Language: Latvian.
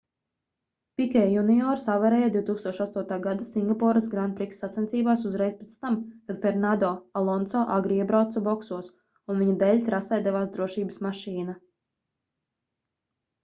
pikē juniors avarēja 2008. gada singapūras grand prix sacensībās uzreiz pēc tam kad fernando alonso agri iebrauca boksos un viņa dēļ trasē devās drošības mašīna